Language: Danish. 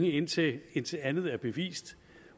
indtil indtil andet er bevist